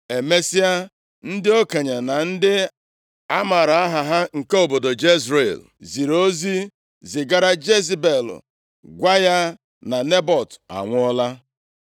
Emesịa, ndị okenye na ndị a maara aha ha nke obodo Jezril, ziri ozi zigara Jezebel gwa ya na Nebọt anwụọla.